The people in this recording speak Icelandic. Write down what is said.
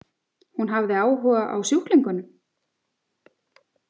Hún hafði áhuga á sjúklingunum?